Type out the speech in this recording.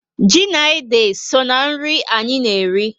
Ji na ede so na nri anyị na eri